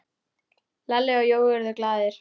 Lalli og Jói urðu glaðir.